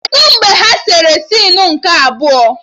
Kedụ mgbe ha sere sinu nke abụọ?